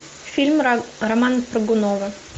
фильм романа прыгунова